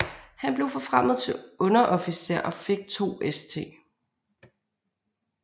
Han blev forfremmet til underofficer og fik to St